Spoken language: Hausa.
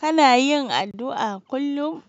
Kana yin addu'a kullum?